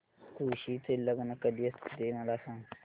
तुळशी चे लग्न कधी असते ते मला सांग